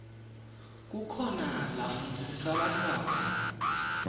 kukhona lafundzisa bantfwana